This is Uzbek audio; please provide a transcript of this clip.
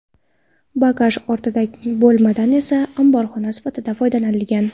Bagaj ortiladigan bo‘lmadan esa omborxona sifatida foydalanilgan.